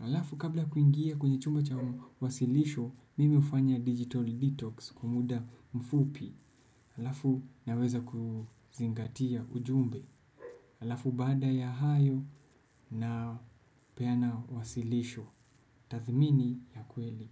Alafu kabla ya kuingia kwenye chumba cha wasilisho, mimi hufanya digital detox kwa muda mfupi. Alafu naweza kuzingatia ujumbe. Alafu baada ya hayo napeana wasilisho. Tathmini ya kweli.